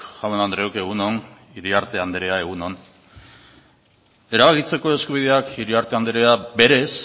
jaun andreok egun on iriarte andrea egun on erabakitzeko eskubideak iriarte andrea berez